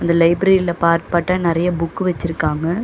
இந்த library part பார்ட்டா நெறைய புக்கு வச்சிருக்காங்க.